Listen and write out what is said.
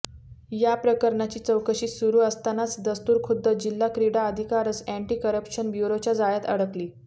या प्रकरणाची चौकशी सुरू असतानाच दस्तुरखुद्द जिल्हा क्रिडा अधिकारीच अॅन्टी करप्शन ब्युरोच्या जाळ्यात अडकली